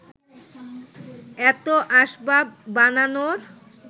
এত আসবাব বানানোর